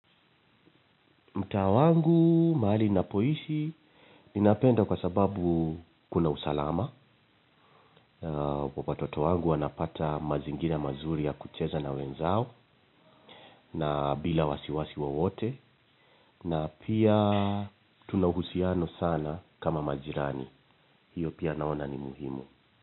Mtaa wangu, mahali ninapoishi, ninapenda kwa sababu kuna usalama. Watoto wangu wanapata mazingira mazuri ya kucheza na wenzao na bila wasiwasi wowote. Na pia tunahusiano sana kama majirani. Hiyo pia naona ni muhimu.